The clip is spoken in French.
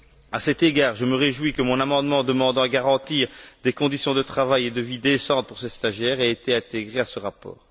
À cet égard, je me réjouis que mon amendement demandant à garantir des conditions de travail et de vie décentes pour ces stagiaires ait été intégré à ce rapport.